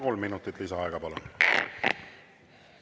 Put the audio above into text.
Kolm minutit lisaaega, palun!